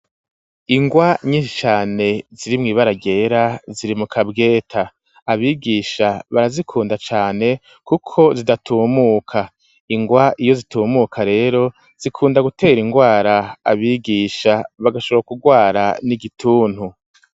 Ingwa nyinshi cane ziri mw'ibara ryera, ziri mu kabweta; abigisha barazikunda cane kuko zidatumuka; ingwa iyo zitumuka rero, zikunda gutera ingwara abigisha, bagashobora kugwara n'igituntu.